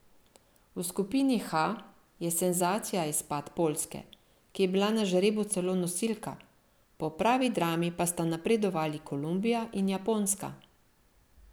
V skupini H je senzacija izpad Poljske, ki je bila na žrebu celo nosilka, po pravi drami pa sta napredovali Kolumbija in Japonska.